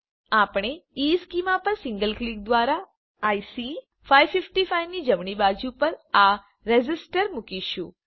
આપણે ઇશ્ચેમાં પર સિંગલ ક્લિક દ્વારા આઇસી 555 ની જમણી બાજુ પર આ રેઝિસ્ટર મુકીશું